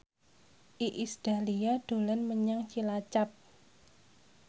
Iis Dahlia dolan menyang Cilacap